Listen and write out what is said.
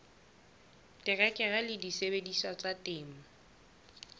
terekere le disebediswa tsa temo